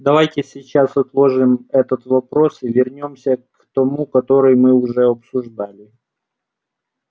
давайте сейчас отложим этот вопрос и вернёмся к тому который мы уже обсуждали